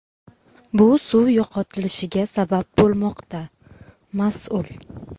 bu suv yo‘qotilishiga sabab bo‘lmoqda – mas’ul.